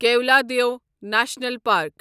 Keoladeo National park